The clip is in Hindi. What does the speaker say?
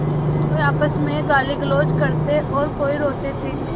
कोई आपस में गालीगलौज करते और कोई रोते थे